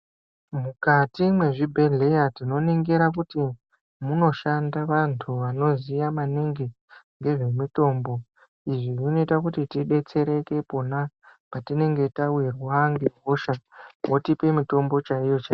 Mukati mwezvibhedhleya tinoningira kuti munoshanda vantu vanoziya maningi ngezvemutombo izvi zvinoita kuti tidetsereke pona patinenge tawirwa ngehosha wotipe mutombo chaiwo chai .